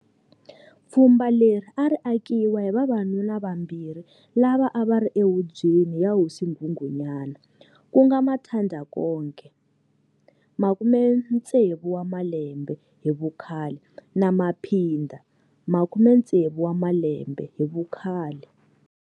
Pfhumba leri a ri akiwa hi vavanuna vambirhi lava a vari ehubweni ya Hosi Nghunghunyana, kunga Mathanda-Konke,60 wamalembe hi vu khale, na Maphinda,60 wamalembe hi vu khale.